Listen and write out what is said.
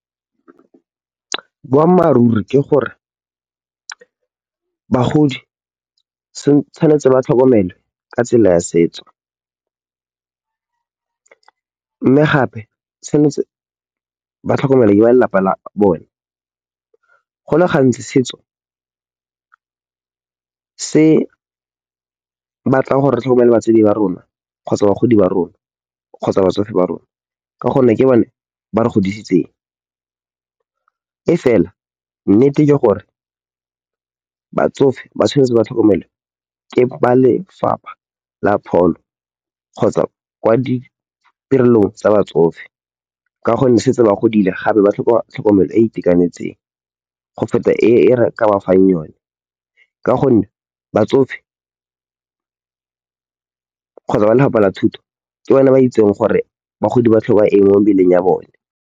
Boammaaruri ke gore, bagodi tshwanetse ba tlhokomelwe ka tsela ya setso. Mme gape tshwanetse ba tlhokomele ke ba lelapa la bone. Go le gantsi setso se batlang gore re tlhokomele batswadi ba rona kgotsa bagodi ba rona kgotsa batsofe ba rona. Ka gonne, ke bone ba re godisitseng e fela nnete ke gore batsofe ba tshwanetse ba tlhokomelwe ke ba lefapha la pholo kgotsa kwa ditirelong tsa batsofe. Ka gonne, setse ba godile gape ba tlhoka tlhokomelo e e itekanetseng go feta e re ka ba fang yone. Ka gonne, batsofe kgotsa ba lapa la thuto ke bone ba itseng gore bagodi ba tlhoka eng mo mebeleng ya bone.